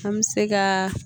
An bɛ se ka